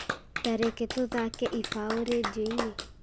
tareke tũthaake ibaũ rĩndiũ-inĩ